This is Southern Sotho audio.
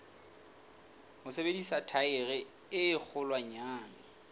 ho sebedisa thaere e kgolwanyane